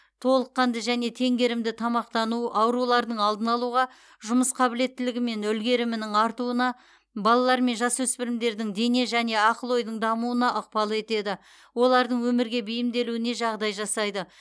толыққанды және теңгерімді тамақтану аурулардың алдын алуға жұмыс қабілеттілігі мен үлгерімінің артуына балалар мен жасөспірімдердің дене және ақыл ойдың дамуына ықпал етеді олардың өмірге бейімделуіне жағдай жасайды